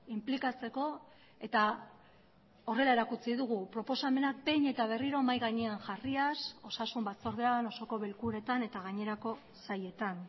inplikatzeko eta horrela erakutsi dugu proposamenak behin eta berriro mahai gainean jarriaz osasun batzordean osoko bilkuretan eta gainerako sailetan